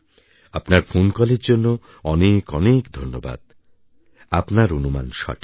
আপনার ফোন কলের জন্য অনেক অনেক ধন্যবাদ আপনার অনুমান সঠিক